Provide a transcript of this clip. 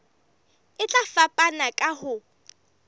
e tla fapana ka ho